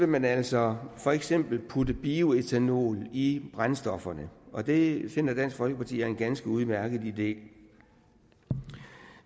man altså for eksempel putte bioætanol i brændstofferne og det finder dansk folkeparti er en ganske udmærket idé